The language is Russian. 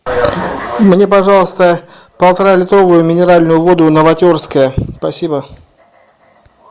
мне пожалуйста полтора литровую минеральную воду новотерская спасибо